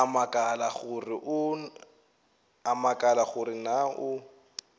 a makala gore na o